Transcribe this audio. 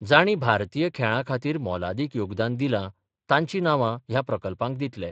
जाणी भारतीय खेळां खातीर मोलादीक योगदान दिलां तांचीं नावा ह्या प्रकल्पांक दितले.